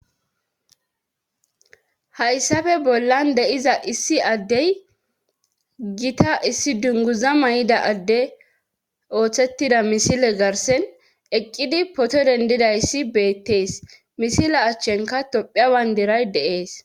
hayssafe bollan deiza issi addey gita issi dunguza may7ida adde ooththettida misile garsen eqqidi poto dendidayssi beettees misila achchenka tophiawan diray deees